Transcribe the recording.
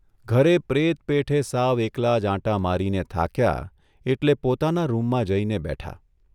ઘરે પ્રેત પેઠે સાવ એકલા જ આંટા મારીને થાક્યા એટલે પોતાના રૂમમાં જઇને બેઠા.